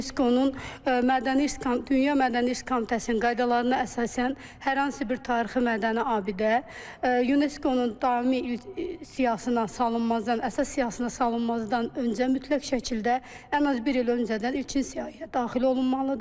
UNESCO-nun mədəni irs, dünya mədəni irs komitəsinin qaydalarına əsasən, hər hansı bir tarixi mədəni abidə UNESCO-nun daimi siyahısına salınmazdan, əsas siyahısına salınmazdan öncə mütləq şəkildə ən az bir il öncədən ilkin siyahıya daxil olunmalıdır.